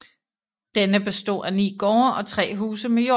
Denne bestod af 9 gårde og 3 huse med jord